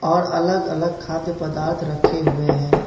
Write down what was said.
और अलग अलग खाद्य पदार्थ रखे हुए हैं।